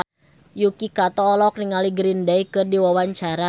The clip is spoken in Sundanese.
Yuki Kato olohok ningali Green Day keur diwawancara